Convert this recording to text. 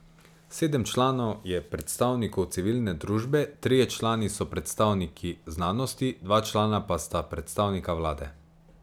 Sedem članov je predstavnikov civilne družbe, trije člani so predstavniki znanosti, dva člana pa sta predstavnika vlade.